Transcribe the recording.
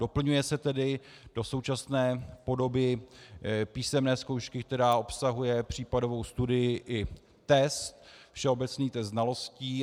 Doplňuje se tedy do současné podoby písemné zkoušky, která obsahuje případovou studii, i test, všeobecný test znalostí.